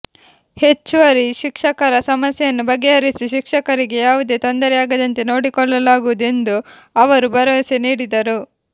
ಹೆಚ್ಚುವರಿ ಶಿಕ್ಷಕರ ಸಮಸ್ಯೆಯನ್ನು ಬಗೆಹರಿಸಿ ಶಿಕ್ಷಕರಿಗೆ ಯಾವುದೇ ತೊಂದರೆಯಾಗದಂತೆ ನೋಡಿಕೊಳ್ಳಲಾಗುವುದು ಎಂದು ಅವರು ಭರವಸೆ ನೀಡಿದರು